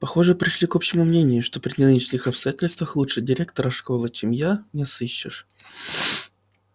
похоже пришли к общему мнению что при нынешних обстоятельствах лучше директора школы чем я не сыщешь